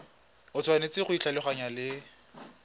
o tshwanetse go ikgolaganya le